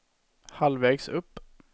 halvvägs upp